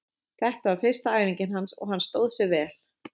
Þetta var fyrsta æfingin hans og hann stóð sig vel.